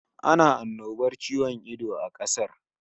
Ana annobar ciwon ido a kasar